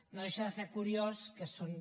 no deixa de ser curiós que són